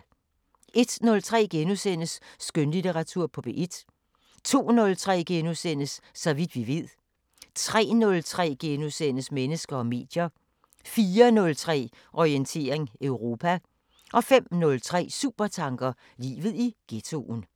01:03: Skønlitteratur på P1 * 02:03: Så vidt vi ved * 03:03: Mennesker og medier * 04:03: Orientering Europa 05:03: Supertanker: Livet i ghettoen